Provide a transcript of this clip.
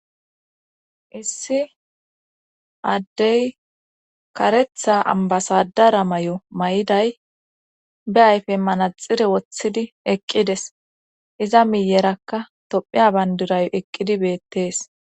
issi addey karetha ambasadara may7o may7iday be ayfe manaxire woththidi eqqides iza miyerakka tophiya bandirayo eqqidi beettees